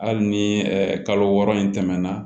Hali ni kalo wɔɔrɔ in tɛmɛna